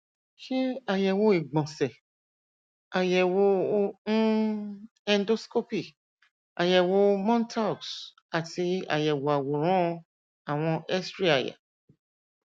ṣe àyẹwò ìgbọnsẹ ayẹwo um endoscopy àyẹwò montaux àti àyẹwò àwòrán àwọn xray àyà